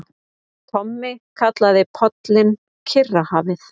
Tommi kallaði pollinn Kyrrahafið.